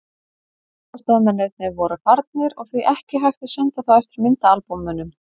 Allir aðstoðarmennirnir voru farnir og því ekki hægt að senda þá eftir myndaalbúmunum.